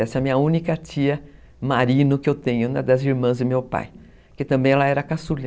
Essa é a minha única tia Marino que eu tenho, uma das irmãs do meu pai, que também era caçula.